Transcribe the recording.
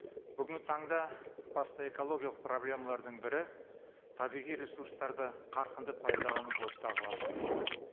бүгінгі таңда басты экологиялық проблемалардың бірі табиғи ресурстарды қарқынды пайдалану болып табылады